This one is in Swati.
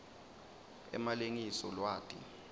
emalengiso lwati